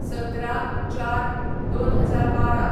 १७/०४/२०१२